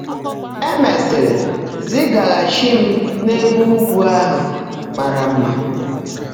É meèsị́rị́ zị́gágháchií m n’Ébè Ụ́gwụ́ áhụ́ márã mmá.